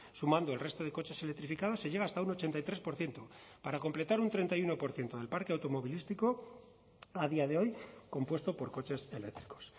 sumando el resto de coches electrificados se llega hasta un ochenta y tres por ciento para completar un treinta y uno por ciento del parque automovilístico a día de hoy compuesto por coches eléctricos